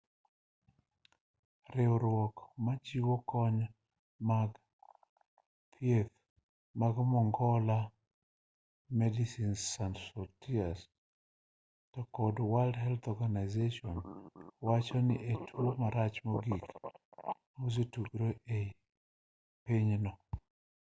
riwruok machiwo kony mag thieth mar mongola medecines sans frontieres to kod world health organisation wacho ni en e tuo marach mogik mosetugore e pinyno